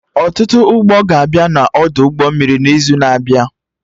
Ọtụtụ ụgbọ ga-abịa na Ọdụ ụgbọ mmiri n'izu na-abịa